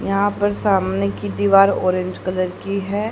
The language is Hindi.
यहां पर सामने की दीवार ऑरेंज कलर की है।